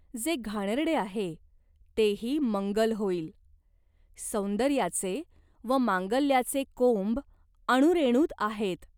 जे घाणेरडे आहे तेही मंगल होईल. सौंदर्याचे व मांगल्याचे कोंब अणुरेणूत आहेत.